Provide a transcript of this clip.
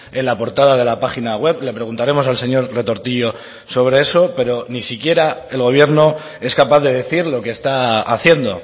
en la portada de la página web le preguntaremos al señor retortillo sobre eso pero ni siquiera el gobierno es capaz de decir lo que está haciendo